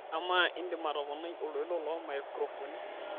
amaa indim atoponai oltoilo loomaikirofoni